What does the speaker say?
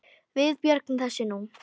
Við björgum þessu nú.